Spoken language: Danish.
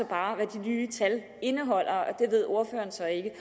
bare hvad de nye tal indeholder og det ved ordføreren så ikke